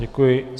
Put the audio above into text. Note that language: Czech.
Děkuji.